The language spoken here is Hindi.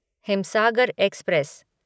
हिमसागर एक्सप्रेस